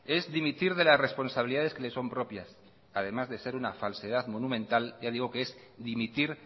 es dimitir de las responsabilidades que le son propias además de ser una falsedad monumental ya digo que es dimitir